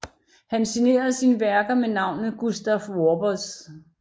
Han signerede sin værker med navnet Gustaf Wappers